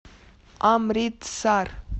амритсар